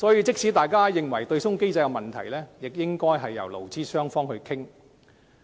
即使大家認為對沖機制存在問題，亦應交由勞資雙方討論。